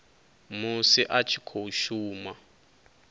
musi a tshi khou shuma